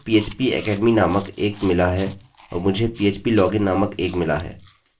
मुझे phpacademy नामक एक मिला है और मुझे phplogin नामक एक मिला है जिसको मैंने दूसरे ट्यूटोरियल में बताया है जो मैंने बनाया है